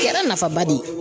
Kɛra nafaba de ye.